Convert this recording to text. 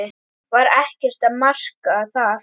Var ekkert að marka það?